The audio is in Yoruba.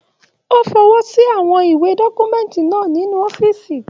O fọwọsi àwọn iwe dọkumẹ̀ntí náà nínú ọ̀fiísí.